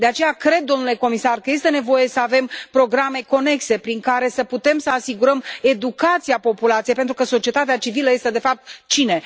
De aceea, cred, domnule comisar, că este nevoie să avem programe conexe prin care să putem să asigurăm educația populației, pentru că societatea civilă este de fapt cine?